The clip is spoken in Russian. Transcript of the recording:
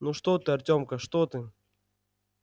ну что ты артёмка что ты